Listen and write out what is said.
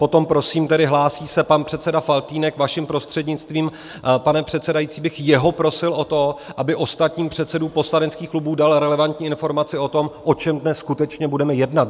Potom prosím, tedy hlásí se pan předseda Faltýnek, vaším prostřednictvím, pane předsedající, bych jeho prosil o to, aby ostatním předsedům poslaneckých klubů dal relevantní informaci o tom, o čem dnes skutečně budeme jednat.